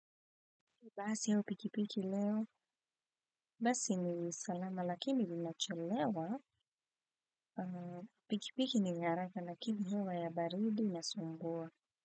BASI AU PIKI PIKI LEO, BASI NI SALAMA LAKINI LINACHELEWA, PIKI PIKI NI YA HARAKA LAKINI HEWA YA BARIDI INASUMBUA.